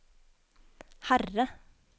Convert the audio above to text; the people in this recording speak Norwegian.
Herre